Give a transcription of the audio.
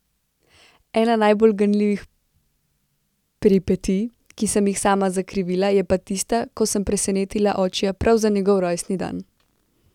Ena najbolj ganljivih peripetij, ki sem jih sama zakrivila, je pa tista, ko sem presenetila očija prav za njegov rojstni dan.